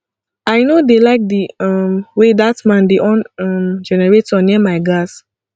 i no dey like the um way dat man dey on um generator near my gas